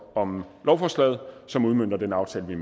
om lovforslaget som udmønter den aftale vi